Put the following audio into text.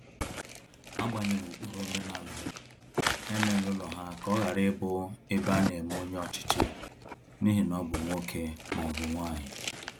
Agbanyeghi ụkpụrụ omenala, ha emela ụlọ ha ka ọ ghara ịbụ ebe ana eme onye ọchịchị n'ihi na ọ bụ nwoke ma ọ bụ nwanyi